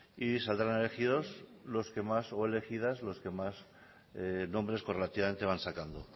y saldrán elegidos o elegidas los que más nombres correlativamente van sacando